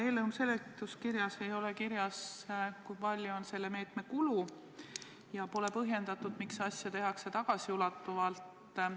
Eelnõu seletuskirjas ei ole kirjas, kui suur on selle meetme kulu, ja pole põhjendatud, miks asja tehakse tagasiulatuvalt.